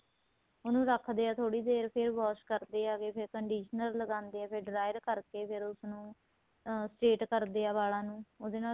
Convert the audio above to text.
ਉਹਨੂੰ ਰੱਖਦਿਆ ਥੋੜੀ ਦੇਰ ਫ਼ੇਰ wash ਕਰਦੇ ਹੈਗੇ ਫ਼ੇਰ conditioner ਲਗਾਦੇ ਏ ਫ਼ੇਰ dryer ਕਰਕੇ ਫ਼ੇਰ ਉਸ ਨੂੰ ਅਹ state ਕਰਦੇ ਏ ਵਾਲਾਂ ਨੂੰ ਉਹਦੇ ਨਾਲ